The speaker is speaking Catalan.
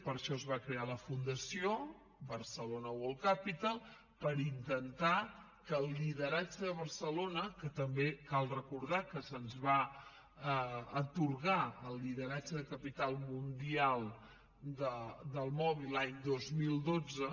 per això es va crear la fundació mobile world capital barcelona per intentar que el lideratge de barcelona que també cal recordar que se’ns va atorgar el lideratge de capital mundial del mòbil l’any dos mil dotze